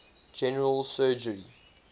general surgery